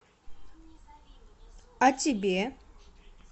а тебе